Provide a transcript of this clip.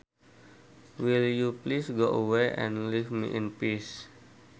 Will you please go away and leave me in peace